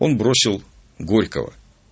он бросил горького